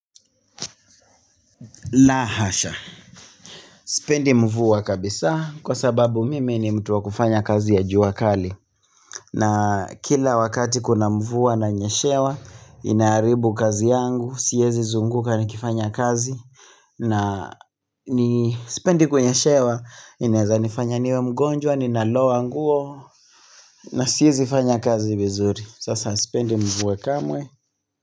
La hasha, sipendi mvua kabisa kwa sababu mimi ni mtu wa kufanya kazi ya jua kali na kila wakati kuna mvuwa na nyeshewa inaharibu kazi yangu siwezi zunguka nikifanya kazi na ni sipendi kunyeshewa inaweza nifanya niwe mgonjwa ninaloa nguo na siwezi fanya kazi vizuri, sasa sipendi mvua kamwe.